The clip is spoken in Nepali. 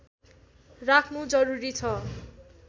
राख्नु जरुरी छ